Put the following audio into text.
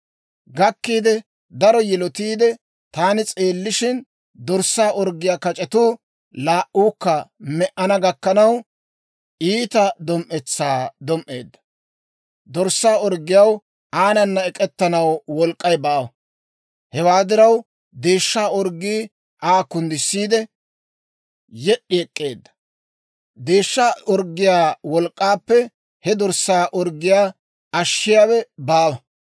Gakkiide, daro yilotiide, taani s'eellishin, dorssaa orggiyaa kac'etuu laa"uukka me"ana gakkanaw, iita dom"etsaa dom"eedda. Dorssaa orggiyaw aanana ek'ettanaw wolk'k'ay baawa; hewaa diraw, deeshshaa orggii Aa kunddissiidde, yed'd'i ek'k'eedda. Deeshsha orggiyaa wolk'k'aappe he dorssaa orggiyaa ashshiyaawe baawa.